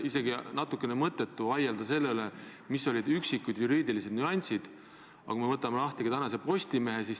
Kindlasti on NATO täna ühtne ja tugev organisatsioon nii poliitiliselt kui ka sõjaliselt, aga selge on see, et teatud NATO-liitlaste vahel on erimeelsusi.